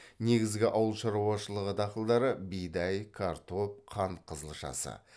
негізгі ауыл шаруашылығы дақылдары бидай картоп қант қызылшасы